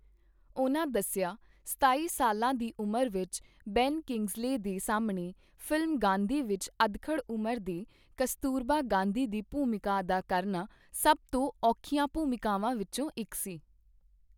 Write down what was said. ਉਨ੍ਹਾਂ ਦੱਸਿਆ, ਸਤਾਈ ਸਾਲਾਂ ਦੀ ਉਮਰ ਵਿੱਚ ਬੈਨ ਕੀੰਗਜ਼ਲੇਅ ਦੇ ਸਾਹਮਣੇ ਫ਼ਿਲਮ ਗਾਂਧੀ ਵਿੱਚ ਅਧਖੜ੍ਹ ਉਮਰ ਦੇ ਕਸਤੂਰਬਾ ਗਾਂਧੀ ਦੀ ਭੂਮਿਕਾ ਅਦਾ ਕਰਨਾ ਸਭ ਤੋਂ ਔਖੀਆਂ ਭੂਮਿਕਾਵਾਂ ਵਿੱਚੋਂ ਇੱਕ ਸੀ।